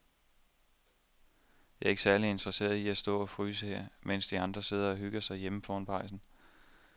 Jeg er ikke særlig interesseret i at stå og fryse her, mens de andre sidder og hygger sig derhjemme foran pejsen.